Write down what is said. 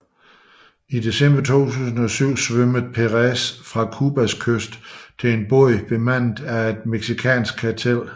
I december 2007 svømmede Perez fra Cubas kyst til en båd bemandet af et mexicansk kartel